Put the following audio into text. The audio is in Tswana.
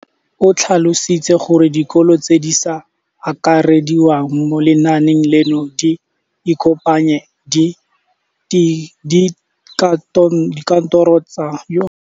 O tlhalositse gore dikolo tse di sa akarediwang mo lenaaneng leno di ikopanye le dikantoro tsa kgaolo fa e le gore le tsona di batla go akarediwa.